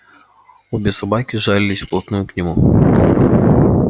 обе собаки жались вплотную к нему